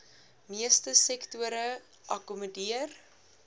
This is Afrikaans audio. meeste sektore akkommodeer